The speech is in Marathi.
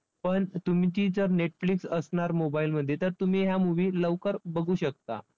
पण तुम्ही ती जर netflix असणार mobile मध्ये तर तुम्ही ह्या movie लवकर बघू शकता.